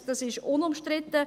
das ist unumstritten.